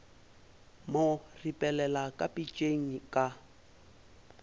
mo ripelela ka pitšeng ka